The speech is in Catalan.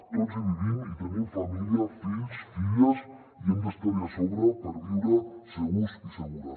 tots hi vivim hi tenim família fills filles i hem d’estar hi a sobre per viure segurs i segures